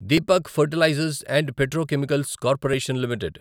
Deepak fertilizers and petrochemicals corporation limited